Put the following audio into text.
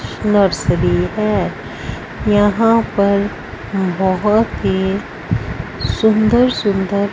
Nursery है। यहां पर बहोत ही सुंदर सुंदर--